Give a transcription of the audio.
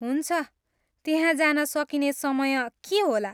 हुन्छ, त्यहाँ जान सकिने समय के होला?